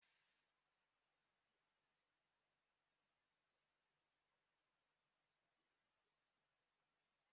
Nwanne ya nwoke ghọrọ onye ọkwọ ụgbọ elu ụnyaahụ.